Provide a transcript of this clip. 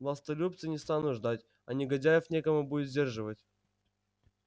властолюбцы не станут ждать а негодяев некому будет сдерживать